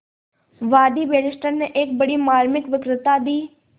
वादी बैरिस्टर ने एक बड़ी मार्मिक वक्तृता दी